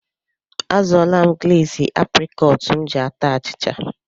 Azụọla m gleezi aprịkọọt m ji ata achịcha.